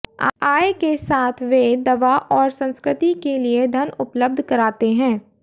आय के साथ वे दवा और संस्कृति के लिए धन उपलब्ध कराते हैं